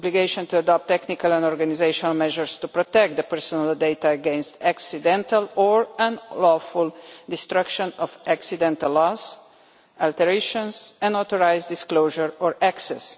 obligations to adopt technical and organisational measures to protect personal data against accidental or unlawful destruction or accidental loss, alteration, unauthorised disclosure or access